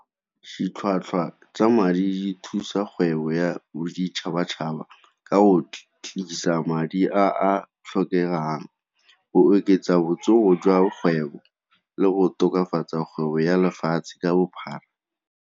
Ditlhwatlhwa tsa madi thusa kgwebo ya boditšhabatšhaba ka o madi a a tlhokegang, go oketsa botsogo jwa kgwebo le go tokafatsa kgwebo ya lefatshe ka bophara.